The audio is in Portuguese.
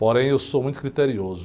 Porém, eu sou muito criterioso.